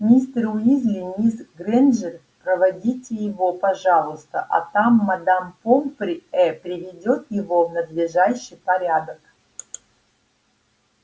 мистер уизли мисс грэйнджер проводите его пожалуйста а там мадам помфри э приведёт его в надлежащий порядок